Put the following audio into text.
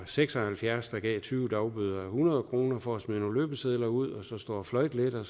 seks og halvfjerds der gav tyve dagbøder a hundrede kroner for at smide nogle løbesedler ud og så stå og fløjte lidt og